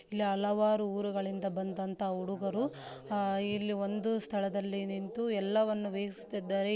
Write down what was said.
ಇಲ್ಲಿ ಹಲವಾರು ಊರುಗಳಿಂದ ಬಂದಂತಹ ಹುಡುಗರು ಅಹ್ ಇಲ್ಲಿ ಒಂದು ಸ್ಥಳದಲ್ಲಿ ನಿಂತು ಎಲ್ಲವನ್ನು ವೀಕ್ಷಿಸುತ್ತಿದ್ದಾರೆ.